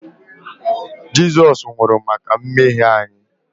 Jizọs nwụrụ maka mmehie anyị